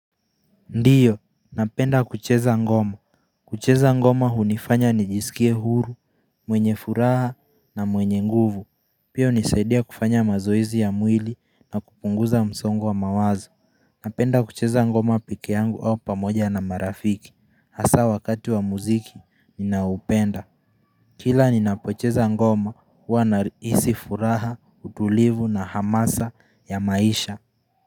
Ndiyo, napenda kucheza ngoma kucheza ngoma hunifanya nijisikie huru, mwenye furaha na mwenye nguvu Pia hunisaidia kufanya mazoezi ya mwili na kupunguza msongo wa mawazo Napenda kucheza ngoma pekee yangu au pamoja na marafiki, hasa wakati wa mziki ninaoupenda Kila ninapocheza ngoma huwa nahisi furaha, utulivu na hamasa ya maisha.